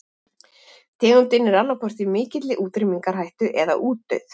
Tegundin er annaðhvort í mikilli útrýmingarhættu eða útdauð.